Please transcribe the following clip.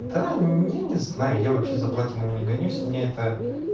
да не не знаю я вообще за платинами не гонюсь мне это